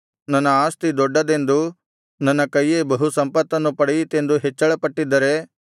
ನನ್ನ ಆಸ್ತಿ ದೊಡ್ಡದೆಂದೂ ನನ್ನ ಕೈಯೇ ಬಹು ಸಂಪತ್ತನ್ನು ಪಡೆಯಿತೆಂದೂ ಹೆಚ್ಚಳಪಟ್ಟಿದ್ದರೆ